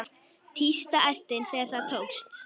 Tísta ertin þegar það tókst.